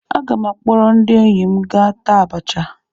Aga m akpọrọ ndị enyi m gaa taa abacha.